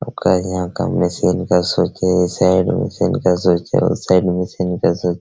जहाँ का मिशन का सोचे साइड मशीन सोचे साइड मशीन सोच --